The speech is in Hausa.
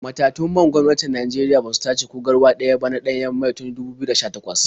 Matatun man gwamnatin Najeriya ba su tace ko garwa ɗaya ba na ɗanyen mai tun 2018.